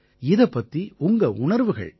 இதைப் பத்தி உங்க உணர்வுகள் என்ன